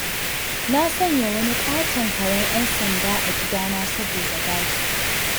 Na sanya wani ƙaton karen 'yan sanda a gidana saboda gadi